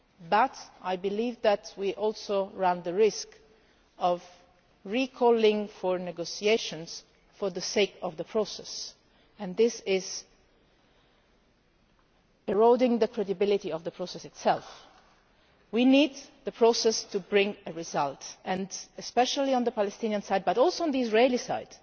But I believe that we also run the risk of calling for negotiations again for the sake of the process, and this is eroding the credibility of the process itself. We need the process to bring a result, especially on the Palestinian side but also on the Israeli side.